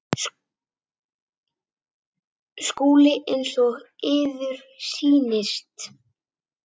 SKÚLI: Eins og yður sýnist.